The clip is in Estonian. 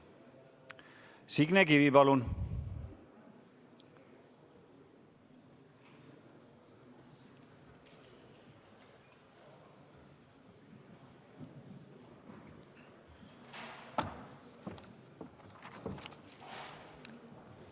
Signe Kivi, palun!